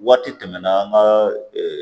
Waati tɛmɛna an ka